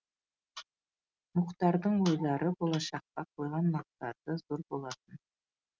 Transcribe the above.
мұхтардың ойлары болашаққа қойған мақсаты зор болатын